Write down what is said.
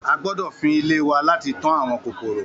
A gbódọ̀ fín ilé wa láti tán àwọn kòkòrò.